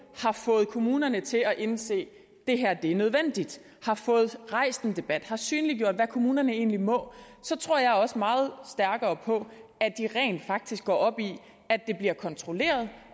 har fået kommunerne til at indse det her er nødvendigt har fået rejst en debat har synliggjort hvad kommunerne egentlig må og så tror jeg også meget stærkere på at de rent faktisk går op i at det bliver kontrolleret